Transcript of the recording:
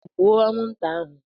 Gbuo anwụnta ahụ